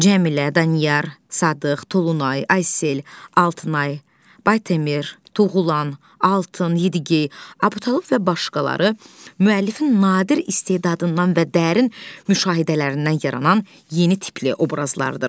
Cəmilə, Danyar, Sadıq, Tulumay, Aysel, Altınay, Batemir, Tuğulan, Altın, Yedigi, Abtalib və başqaları müəllifin nadir istedadından və dərin müşahidələrindən yaranan yeni tipli obrazlardır.